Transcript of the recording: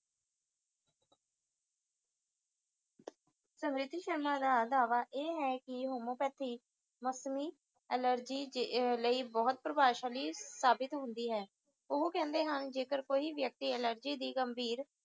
ਸੁਮੀਤ ਸ਼ਰਮਾ ਦਾ ਦਾਵਾ ਇਹ ਹੈ ਕਿ homeopathy ਮੌਸਮੀ allergy ਲਈ ਬਹੁਤ ਪ੍ਰਭਾਵਸ਼ਾਲੀ ਸਾਬਿਤ ਹੁੰਦੀ ਹੈ ਓਹੋ ਕਹਿੰਦੇ ਹਨ ਜੇਕਰ ਕੋਈ ਵਿਅਕਤੀ allergy ਦੀ ਗੰਭੀਰ